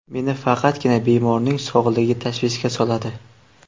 Meni faqatgina bemorning sog‘ligi tashvishga soladi.